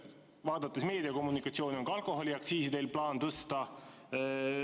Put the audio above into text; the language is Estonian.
Vaadates meediat, on teil plaanis ka alkoholiaktsiisi tõsta.